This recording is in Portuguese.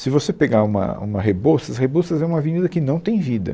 Se você pegar uma uma Rebouças, Rebouças é uma avenida que não tem vida.